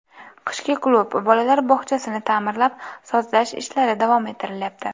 Qishki klub, bolalar bog‘chasini ta’mirlab, sozlash ishlari davom ettirilayapti.